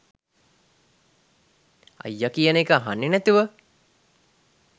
අයියා කියන එක අහන්නේ නැතුව